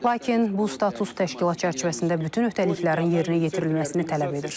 Lakin bu status təşkilat çərçivəsində bütün öhdəliklərin yerinə yetirilməsini tələb edir.